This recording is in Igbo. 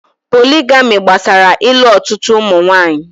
Pólị́gamị́ gbasara ị́lu ọtụtụ ụmụ nwanyị.